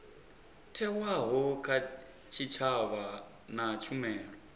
thewaho kha tshitshavha na tshumelo